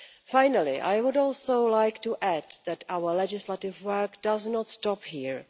Finally, I would also like to add that our legislative work does not stop here.